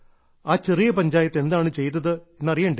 ആ ചെറിയ പഞ്ചായത്ത് എന്താണ് ചെയ്തത് എന്ന് അറിയണ്ടേ